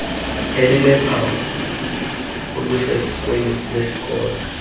elinophawu olusesikweni lwesikolo